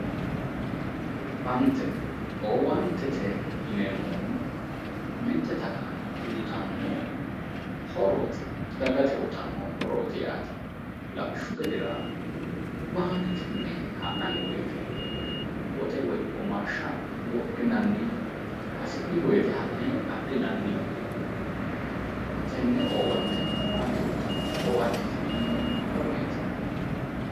Owaante, owaantete yinneemmohuno, mite xaqame uyittano horoti dagate uyittano horoti yaate, lawishshu gedera baankete mine la'nanni woyte woxe woyi womaashsha uyinanni hasi'ni woyte ka'ne adhinanni tene owaante baanke uyittano, owaantete yinneemmohu konneti.